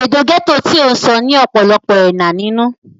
èdè gẹ́tò tí ó ń sọ ní ọ̀pọ̀lọpọ̀ ẹ̀nà nínú